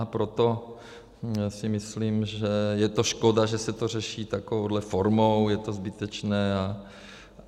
A proto si myslím, že je to škoda, že se to řeší takovou formou, je to zbytečné.